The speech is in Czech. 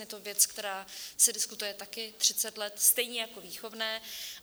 Je to věc, která se diskutuje také 30 let, stejně jako výchovné.